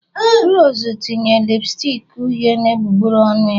Rose tinye lipstick uhie na egbugbere ọnụ ya